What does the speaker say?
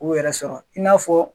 U yɛrɛ sɔrɔ i n'a fɔ